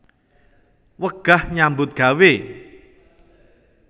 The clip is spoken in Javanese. Wegah nyambut gawé